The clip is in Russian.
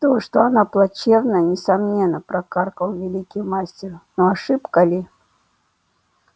то что она плачевная несомненно прокаркал великий мастер но ошибка ли